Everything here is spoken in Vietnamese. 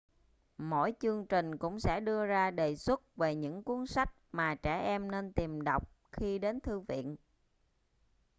mỗi chương trình cũng sẽ đưa ra đề xuất về những cuốn sách mà trẻ em nên tìm đọc khi đến thư viện